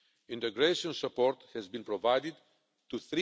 integration support has been provided